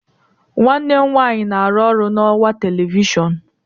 nwanne m nwanyị na-arụ ọrụ na ọwa telivishọn